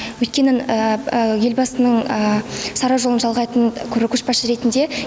өйткені елбасының сара жолын жалғайтын көшбасшы ретінде